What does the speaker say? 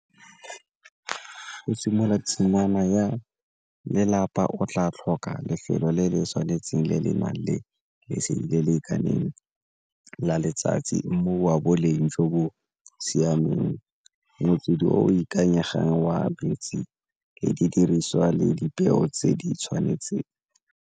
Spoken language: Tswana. Go simolola tshingwana ya lelapa o tla tlhoka lefelo le le tshwanetseng le le nang le lesedi le le lekaneng la letsatsi, mmu wa boleng jo bo siameng motswedi o ikanyegang wa le didiriswa le dipeo tse di tshwanetseng.